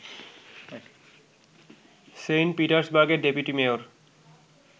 Saint পিটার্সবার্গের deputy mayor